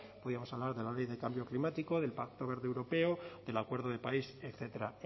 podríamos hablar de la ley de cambio climático del pacto verde europeo del acuerdo de parís etcétera